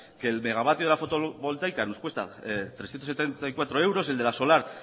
que el megavatio de la fotovoltaica nos cuesta trescientos setenta y cuatro euros el de la solar